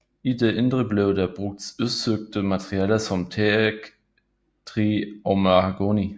I det indre blev der brugt udsøgte materialer som teaktræ og mahogni